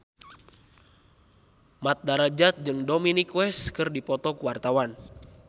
Mat Drajat jeung Dominic West keur dipoto ku wartawan